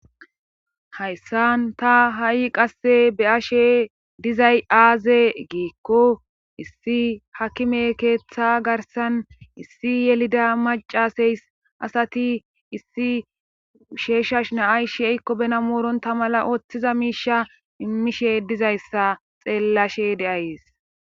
Hayssan ta hay qasse be'ashe dizay aaze giiko issi hakime keetha garssan issi yelida macasees. asati issi sheesha na'ay she'iko bena morontha mala otiza miisha imishe dizayssa xeelashe de'ayssi.